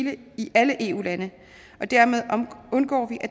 alle eu lande og dermed undgår vi at